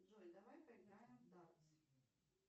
джой давай поиграем в дартс